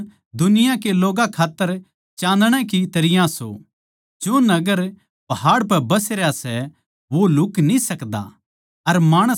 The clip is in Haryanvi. थम दुनिया के लोग्गां खात्तर चाँदणा की तरियां सों जो नगर पहाड़ पै बस रह्या सै वो लुह्क न्ही सकदा